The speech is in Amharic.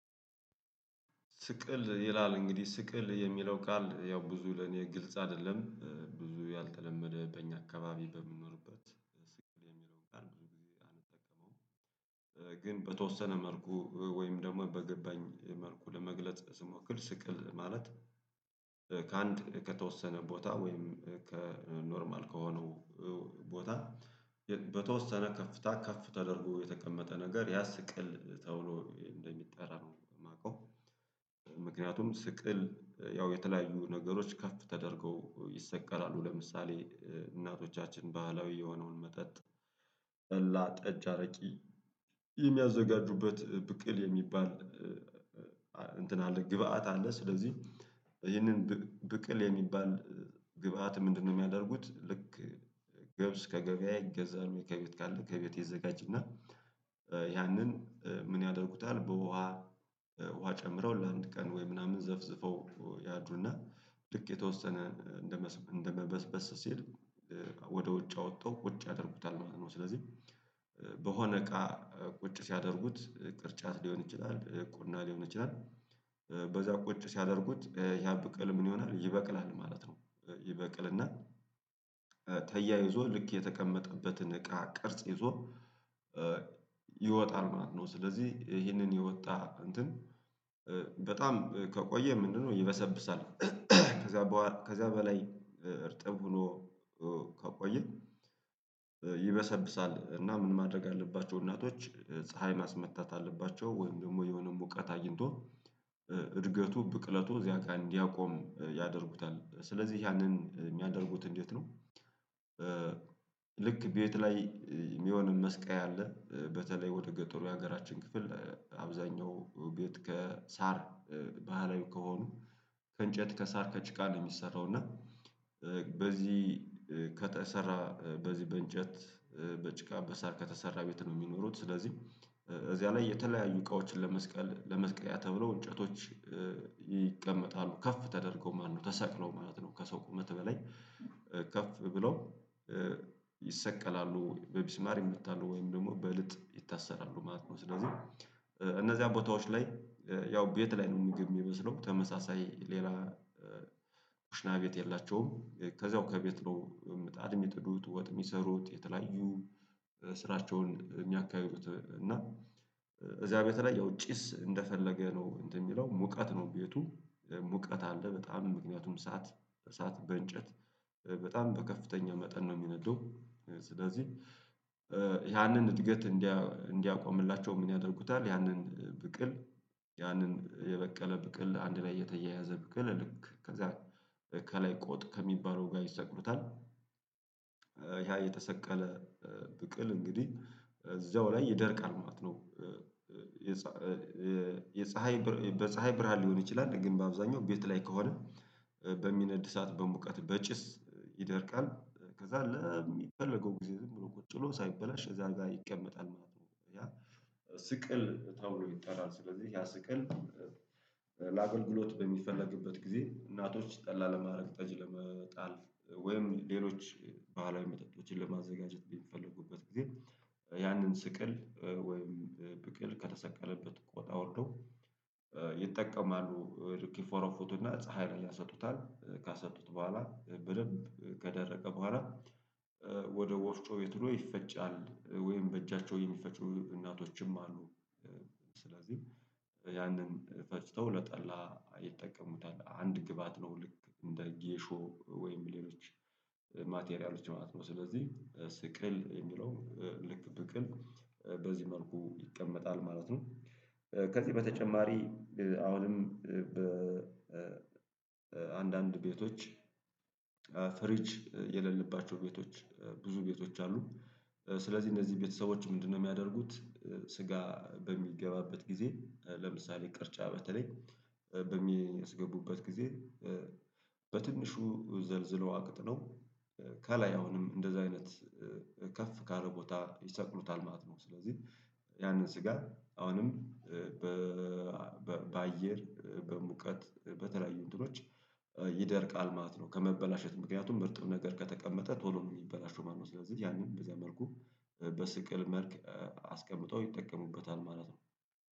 ስቅል ይላል እንግዲህ ስቅል የሚለው ቃል ያው ብዙ ለኔ ግልጽ አይደለም ብዙ ያልተለመደ በእኛ አካባቢ በምንኖርበት ስቅል የሚለውን ጋር ብዙ ጊዜ አንጠቀመውም፤ ግን በተወሰነ መልኩ ወይም ደግሞ በገበኝ መልኩ ለመግለጽ ስሞክር ስቅል ማለት ከአንድ ከተወሰነ ቦታ ወይም ከኖርማል ከሆነው ቦታ በተወሰነ ከፍታ ከፍ ተደርጎ የተቀመጠ ነገር ያ ስቅል ተብሎ እንደሚጠራ ነው የማውቀው ምክንያቱም ስቅል ያው የተለያዩ ነገሮች ከፍ ተደርገው ይሰቀላሉ ለምሳሌ እናቶቻችን ባህላዊ የሆነውን መጠጥ ጠላ ጠጅ አረቂ የሚያዘጋጁበት ብቅል የሚባል እንትን አለ ግብአት አለ ስለዚህ ይህንን ብቅል የሚባል ግብአት ምንድነው የሚያደርጉት ልክ ገብስ ከገበያ ይገዛል ወይ ከቤት ካለ ከቤት ይዘጋጅና ያንን ምን ያደርጉታል በውሃ ውሃ ጨምረው ለአንድ ቀን ወይ ምናምን ዘፍዝፈው ያድሩና ልክ የተወሰነ እንደመበስበስ ሲል ወደ ውጭ አውጠው ቁጭ ያደርጉታል ማለት ነው ስለዚህ በሆነ እቃ ቁጭ ሲያደርጉት ቅርጫት ሊሆን ይችላል ቁና ሊሆን ይችላል በዛ ቁጭ ሲያደርጉት ያብቅል ምን ይሆናል ይበቅላል ማለት ነው ይበቅልና ተያይዞ ልክ የተቀመጠበትን እቃ ቅርጽ ይዞ ይወጣል ማለት ነው ስለዚህ ይሄንን የወጣ እንትን በጣም ከቆየ ምንድነው ይበሰብሳል ከዛ በኋላ ከዛ በላይ እርጥብ ብሎ ከቆየ ይበሰብሳል እና ምን ማድረግ አለባቸው እናቶች ፀሀይ ማስመታት አለባቸው ወይም ደግሞ የሆነ ሙቀት አይንቶ እድገቱ ብቅለቱ እዚያ ቀን እንዲያቆም ያደርጉታል ስለዚህ ያንን የሚያደርጉት እንዴት ነው ልክ ቤት ላይ የሚሆንን መስቀያ አለ በተለይ ወደ ገጠሩ የሀገራችን ክፍል አብዛኛው እቤት ከሳር ባህላዊ ከሆኑ ከእንጨት ከሳር ከጭቃ ነው የሚሰራው እና በዚህ ከተሰራ በዚህ በእንጨት በጭቃ በሳር ከተሰራ ቤት ነው የሚኖሩት ስለዚህ እዚያ ላይ የተለያዩ እቃዎችን ለመስቀል ለመስቀያ ተብሎ እንጨቶች ይቀመጣሉ ከፍ ተደርገው ማለት ነው ተሰቅሎ ማለት ነው ከሰው ቁመት በላይ ከፍ ብሎ ይሰቀላሉ በቢስማር ይመታሉ ወይም ደግሞ በእልጥ ይታሰራሉ ማለት ነው ስለዚህ እነዚያ ቦታዎች ላይ ያው ቤት ላይ ነው ምግብ የሚበስለው ተመሳሳይ ሌላ ኮሽና ቤት የላቸውም ከዛው ከቤት ነው ምጣድ የሚጥዱት ወጥ የሚሰሩት የተለያዩ ስራቸውን የሚያካሂዱት እና እዚያ ቤት ላይ ያው ጭስ እንደፈለገ ነው እንትን የሚለው ሙቀት ነው ቤቱ ሙቀት አለ በጣም ምክንያቱም እሳት እሳት በእንጨት በጣም በከፍተኛ መጠን ነው የሚነደው ስለዚህ ያንን እድገት እንዲያቆምላቸው ምን ያደርጉታል ያንን ብቅል ያንን የበቀለ ብቅል አንድ ላይ የተያያዘ ብቅል ልክ ከዛ ከላይ ቆጥ ከሚባለው ጋር ይሰቅሉታል ያ የተሰቀለ ብቅል እንግዲህ እዛው ላይ ይደርቃል ማለት ነው የፀሀይ በፀሀይ ብርሃን ሊሆን ይችላል ግን በአብዛኛው ቤት ላይ ከሆነ በሚነድ እሳት በሙቀት በጭስ ይደርቃል ከዛ ለሚፈለገው ጊዜ ዝም ብሎ ቁጭ ብሎ ሳይበላሽ እዛ ጋር ይቀመጣል ማለት ነው ያ ስቅል ተብሎ ይጠራል ስለዚህ ያ ስቅል በሚፈለግበት ጊዜ እናቶች ጠላ ለማድረግ ጠጅ ለመጣል ወይም ሌሎች ባህላዊ መጠጦችን ለማዘጋጀት ቢፈልጉበት ጊዜ ያንን ስቅል ወይም ብቅል ከተሰቀለበት ቆጥ አውርደው ይጠቀማሉ፤ ልክ ይፎርፉቶ እና ፀሀይ ላይ ያሰጡታል ካሰጡት በኋላ በደንብ ከደረቀ በኋላ ወደ ወፍጮ ቤት ሄዶ ይፈጫል ወይም በእጃቸው የሚፈጩ እናቶችም አሉ ስለዚህ ያንን ፈጭተው ለጠላ ይጠቀሙታል አንድ ግባት ነው ልክ እንደ ጌሾ ወይም ሌሎች ማቴሪያሎች ማለት ነው ስለዚህ ስቅል የሚለው ልክ ብቅል በዚህ መልኩ ይቀመጣል ማለት ነው ከዚህ በተጨማሪ አሁንም በአንዳንድ ቤቶች ፍሪጅ የሌለባቸው ቤቶች ብዙ ቤቶች አሉ ስለዚህ እነዚህ ቤተሰቦች ምንድነው የሚያደርጉት ስጋ በሚገባበት ጊዜ ለምሳሌ ቅርጫ በተለይ በሚያስገቡበት ጊዜ በትንሹ ዘልዝለው አቅጥነው ከላይ አሁንም እንደዛ አይነት ከፍ ካለ ቦታ ይሰቅሉታል ማለት ነው ስለዚህ ያንን ስጋ አሁንም በአየር በሙቀት በተለያዩ እንትኖች ይደርቃል ማለት ነው ከመበላሸት ምክንያቱም እርጥብ ነገር ከተቀመጠ ቶሎ ነው የሚበላሸው ማለት ነው ስለዚህ ያንን በዚያ መልኩ በስቅል መልክ አስቀምጠው ይጠቀሙበታል ማለት ነው።